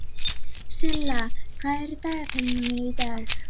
Silla, hvað er í dagatalinu mínu í dag?